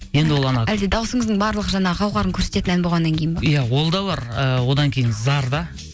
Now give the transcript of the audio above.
енді ол анау әлде дауысыңыздың барлық жаңағы қауһарын көрсететін ән болғаннан кейін ба иә ол да бар ыыы одан кейін зар да